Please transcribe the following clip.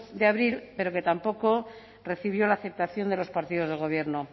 de abril pero que tampoco recibió la aceptación de los partidos del gobierno